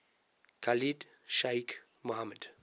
khalid sheikh mohammed